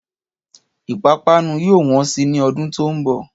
Ìpápanú yóò wọ́n sì ni ọdún tó ń bọ̀